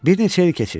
Bir neçə il keçir.